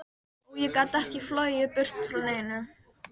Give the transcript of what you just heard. Og ég get ekki flogið burt frá neinu.